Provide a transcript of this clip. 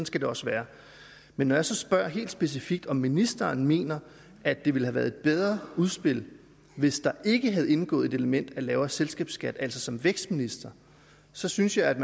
skal det også være men når jeg så spørger helt specifikt om ministeren mener at det ville have været et bedre udspil hvis der ikke havde indgået et element af lavere selskabsskat altså som vækstminister så synes jeg at